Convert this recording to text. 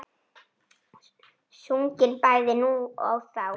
Sungin bæði nú og þá.